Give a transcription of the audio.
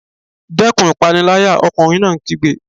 Dẹ́kun ìpániláyà! Ọkùnrin náà kígbe.